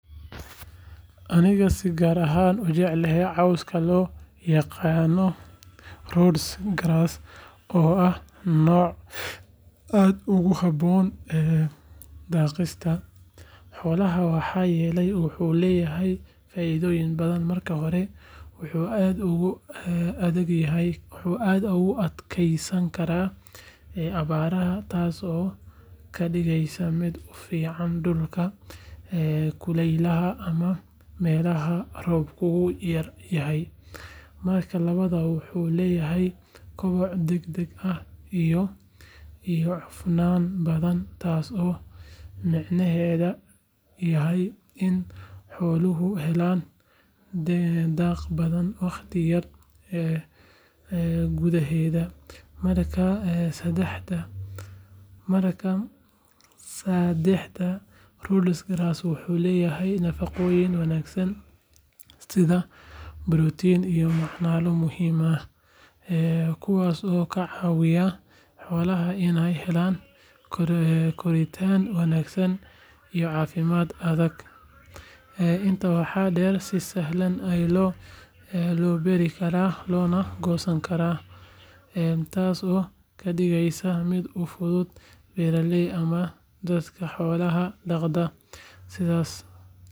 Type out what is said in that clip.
Anigaaba si gaar ah u jecel cawska loo yaqaan Rhodes Grass oo ah nooc aad ugu habboon daaqsinka xoolaha maxaa yeelay wuxuu leeyahay faa’iidooyin badan. Marka hore, wuxuu aad ugu adkaysan karaa abaaraha, taasoo ka dhigaysa mid ku fiican dhulalka kulaylaha ama meelaha roobkoodu yar yahay. Marka labaad, wuxuu leeyahay koboc degdeg ah iyo cufnaan badan, taasoo micnaheedu yahay in xooluhu helaan daaq badan waqti yar gudaheed. Marka saddexaad, Rhodes Grass wuxuu leeyahay nafaqooyin wanaagsan sida borotiin iyo macdano muhiim ah, kuwaasoo ka caawiya xoolaha inay helaan koritaan wanaagsan iyo caafimaad adag. Intaa waxaa dheer, si sahlan ayaa loo beeri karaa loona goosan karaa, taasoo ka dhigaysa mid u fudud beeraleyda ama dadka xoolaha dhaqda.